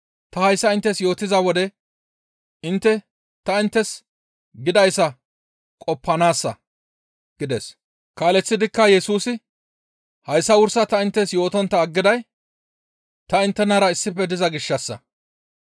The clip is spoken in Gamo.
Ta hayssa inttes yootiza wode intte ta inttes gidayssa qoppanaassa» gides. Kaaleththidikka Yesusa, «Hayssa wursa ta inttes yootontta aggiday ta inttenara issife diza gishshassa.